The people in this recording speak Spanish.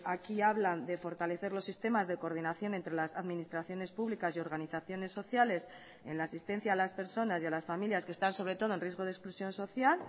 aquí hablan de fortalecer los sistemas de coordinación entre las administraciones públicas y organizaciones sociales en la asistencia a las personas y a las familias que están sobre todo en riesgo de exclusión social